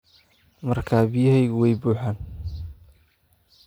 Markaa biyahaagu way buuxaan?